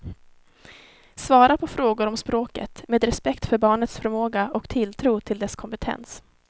Svara på frågor om språket, med respekt för barnets förmåga och tilltro till dess kompetens.